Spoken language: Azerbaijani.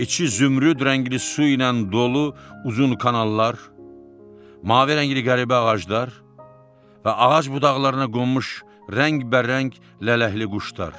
İçi zümrüd rəngli su ilə dolu uzun kanallar, mavi rəngli qəribə ağaclar və ağac budaqlarına qonmuş rəngbərəng lələkli quşlar.